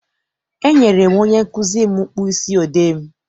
E nyere m onye nkụzi m mkpịsị odee m.